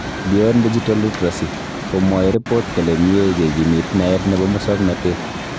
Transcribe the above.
Beyond digital literacy, komwaei report kole mie kekimit naet nebo musoknotet